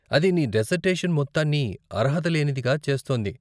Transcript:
అది నీ డిసర్టేషన్ మొత్తాన్ని అర్హత లేనిదిగా చేస్తుంది.